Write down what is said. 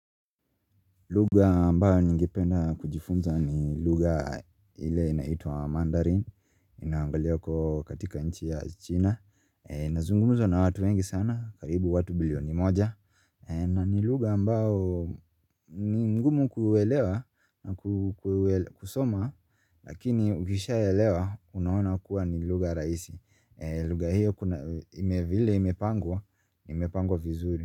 Lugha ambayo ningependa kujifunza ni lugha ile inaitwa mandarin, inaongelewa kwa, katika nchi ya China. Inazungumzwa na watu wengi sana, karibu watu bilioni moja. Na ni lugha ambao ni mgumu kuelewa na kusoma, lakini ukishaeewa unaona kuwa ni lugha rahisi. Lugha hiyo kuna, ime, vile imepangwa, imepangwa vizuri.